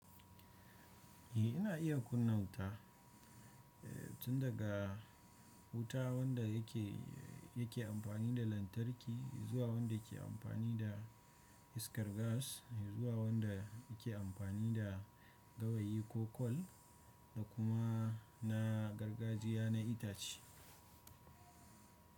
Eh, ina iya kunna wuta. Eh, tun daga wuta wanda yake, yake amfani da lantarki zuwa wanda ke amfani da iskar gas zuwa wanda ke amfani da gawayi ko kwal da kuma na gargajiya na itace.